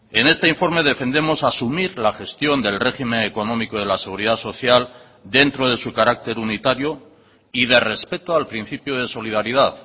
en este informe defendemos asumir la gestión del régimen económico de la seguridad social dentro de su carácter unitario y de respeto al principio de solidaridad